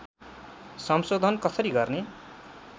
संशोधन कसरी गर्ने